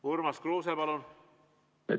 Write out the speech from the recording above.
Urmas Kruuse, palun!